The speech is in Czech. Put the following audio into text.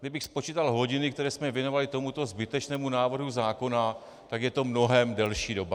Kdybych spočítat hodiny, které jsme věnovali tomuto zbytečnému návrhu zákona, tak je to mnohem delší doba.